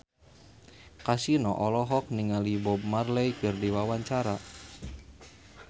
Kasino olohok ningali Bob Marley keur diwawancara